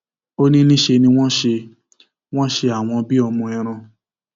ó ní níṣẹ ni wọn ṣe wọn ṣe àwọn bíi ọmọ ẹran